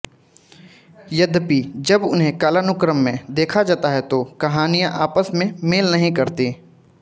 यद्यपि जब इन्हें कालानुक्रम में देखा जाता है तो कहानियां आपस में मेल नहीं करतीं